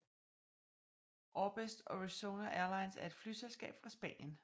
Orbest Orizonia Airlines er et flyselskab fra Spanien